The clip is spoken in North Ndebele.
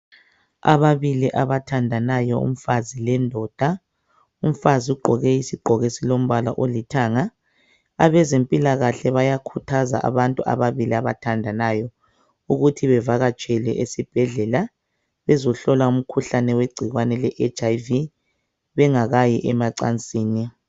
Ababili abathandanayo umfazi lendoda ,umfazi ugqoke isigqoko esilombala olithanga ,abaze mpilakahle bayakhuthaza abantu ababili abathandanayo ukuthi bavakatshele esibhedlela bezohlola umkhuhlane we gcikwane le HIV bengakayi emacansini